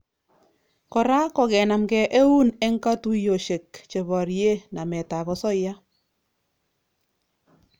Kora kokenamkei eun eng katuiyosiek cheborie nametap osoya